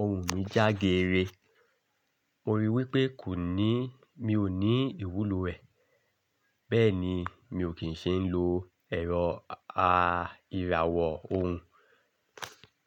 òun mi jágere. Mo rí i wípé kò ní, mi ò ní ìwúlò ẹ̀ bẹ́ẹ̀ ni mi ò kín ṣe ń lo ẹ̀rọ à ìràwọ̀ òun.